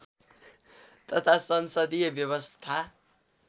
तथा संसदीय व्यवस्था